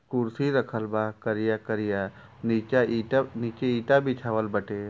कुर्सी रखल बा करिया करिया निचा ईटा नीचे इटा बीछवाल बाटे।